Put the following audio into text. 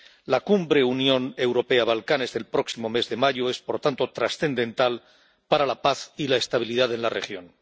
La cumbre Unión Europea Balcanes del próximo mes de mayo es, por tanto, trascendental para la paz y la estabilidad en la región.